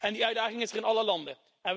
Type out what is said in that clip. Die uitdaging is er in alle landen.